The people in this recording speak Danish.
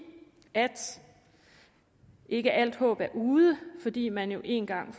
at ikke alt håb er ude fordi man en gang